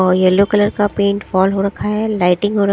और yellow colour का paint fall हो रखा है लाइटिंग और--